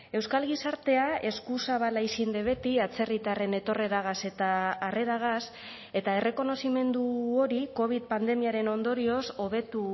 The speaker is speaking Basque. euskal gizartea eskuzabala izin de beti atzerritarren etorreragaz eta harreragaz eta errekonozimendu hori covid pandemiaren ondorioz hobetu